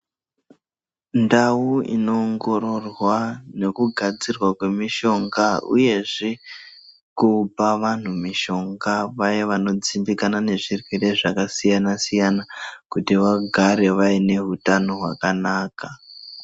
Ndau inoongororwa nekugadzirwa kwemishonga uyezve kupa vantu mishonga vaya vanodzimbikana nezvirwere zvakasiyana siyana kuti vagare vaine hutano hwakanaka.